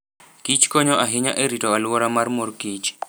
Kich konyo ahinya e rito alwora mar mor kich.